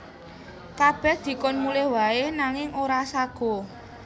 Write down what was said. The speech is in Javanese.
Kabèh dikon mulih waé nanging ora saguh